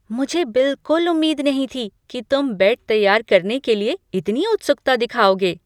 मुझे बिलकुल उम्मीद नहीं थी कि तुम बेड तैयार करने के लिए इतनी उत्सुकता दिखाओगे।